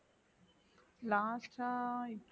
last ஆ இப்~